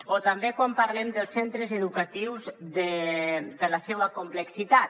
o també quan parlem dels centres educatius per la seua complexitat